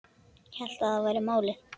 Hélt að það væri málið.